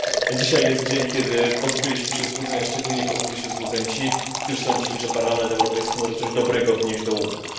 Dzisiaj jest dzień, kiedy pozbyliśmy się złudzeń, a szczególnie pozbyli się złudzeń ci, którzy sądzili, że Parlament Europejski może coś dobrego wnieść do łupków.